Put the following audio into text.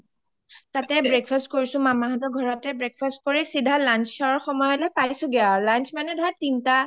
তাতে breakfast কৰিছো মামা হতৰ ঘৰতে breakfast কৰি চিধা lunch ৰ সময়ত পাইছোগে আৰু lunch মানে ঘৰা তোমাৰ তিনটা